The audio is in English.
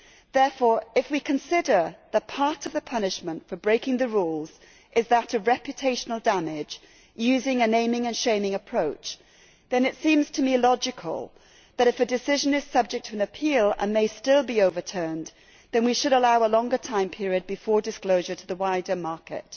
Therefore, if we consider that part of the punishment for breaking the rules is that of reputational damage, using a naming and shaming' approach, then it seems to me logical that if a decision is subject to an appeal and may still be overturned, we should allow a longer time period before disclosure to the wider market.